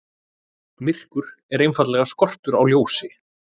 Myrkur er einfaldlega skortur á ljósi.